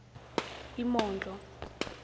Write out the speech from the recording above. imondlo